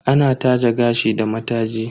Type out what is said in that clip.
Ana taje gashi da mataji.